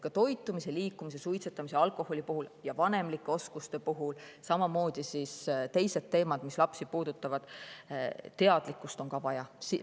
Nii toitumise, liikumise, suitsetamise ja alkoholi kui ka vanemlike oskuste, samamoodi teiste lapsi puudutavate teemade puhul on teadlikkust vaja.